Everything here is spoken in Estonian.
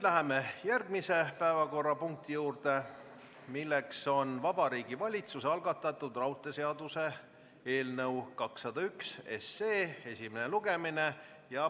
Läheme järgmise päevakorrapunkti juurde, Vabariigi Valitsuse algatatud raudteeseaduse eelnõu 201 esimene lugemine.